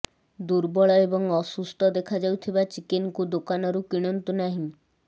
ଦୁର୍ବଳ ଏବଂ ଅସୁସ୍ଥ ଦେଖାଯାଉଥିବା ଚିକେନ୍କୁ ଦୋକାନରୁ କିଣନ୍ତୁ ନାହିଁ